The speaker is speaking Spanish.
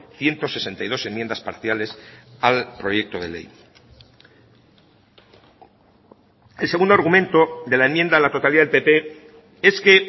ciento sesenta y dos enmiendas parciales al proyecto de ley el segundo argumento de la enmienda a la totalidad del pp es que